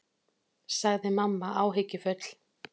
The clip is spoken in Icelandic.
sagði mamma áhyggjufull.